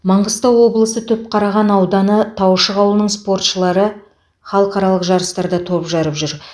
маңғыстау облысы түпқараған ауданы таушық ауылының спортшылары халықаралық жарыстарда топ жарып жүр